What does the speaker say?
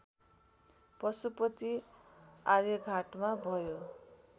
पशुपति आर्यघाटमा भयो